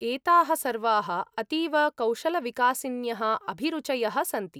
एताः सर्वाः अतीव कौशलविकासिन्यः अभिरुचयः सन्ति।